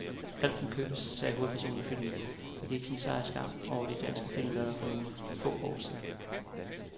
Alt kan købes, sagde hovedpersonen i filmen, der gik sin sejrsgang over de danske filmlærreder for få år siden.